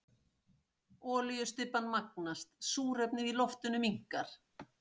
Olíustybban magnast, súrefnið í loftinu minnkar.